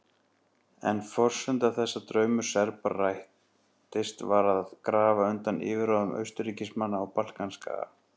En forsenda þess að draumur Serba rættist var að grafa undan yfirráðum Austurríkismanna á Balkanskaga.